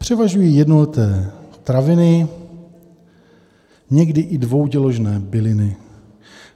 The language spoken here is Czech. Převažují jednoleté traviny, někdy i dvouděložné byliny.